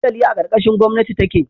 Dandali a karkashin gomnati take